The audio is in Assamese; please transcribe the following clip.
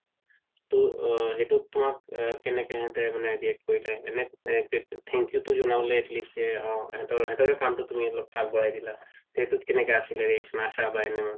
তো সেইটো তুমাক কেনেকে মানে react কৰিলে এনে thank you তো জনাব লাগিছিলে সেহেতৰে কামটো তুমি অলপ আগবঢ়াই দিলা তে সেইটোত কেনেকুৱা reaction আছিলে আশা বা NM ৰ